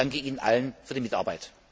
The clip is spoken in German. Ich danke Ihnen allen für die Mitarbeit!